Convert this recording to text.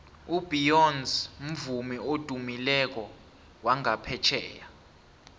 ubeyonce mvumi odumileko wangaphetjheya